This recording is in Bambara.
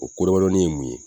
O ko damadɔnin ye mun ye?